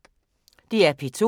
DR P2